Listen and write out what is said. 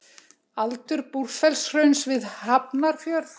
Aldur Búrfellshrauns við Hafnarfjörð.